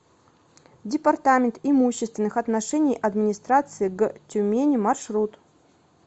департамент имущественных отношений администрации г тюмени маршрут